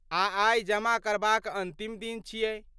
आ आइ जमा करबाक अन्तिम दिन छियै।